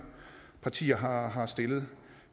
partier har har stillet